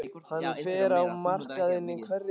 Hann fer á markaðinn í hverri viku.